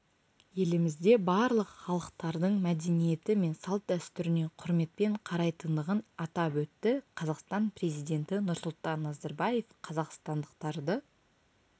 елімізде барлық халықтардың мәдениеті мен салт-дәстүріне құрметпен қарайтындығын атап өтті қазақстан президенті нұрсұлтан назарбаев қазақстандықтарды